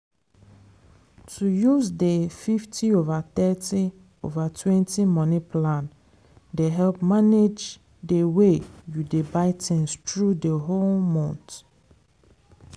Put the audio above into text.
to use dey fifty over thirty over twenty money plan dey help manage dey way you dey buy things through d whole month.